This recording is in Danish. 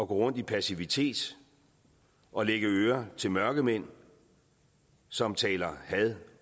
gå rundt i passivitet og lægge øre til mørkemænd som taler had